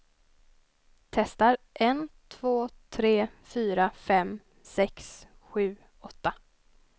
Testar en två tre fyra fem sex sju åtta.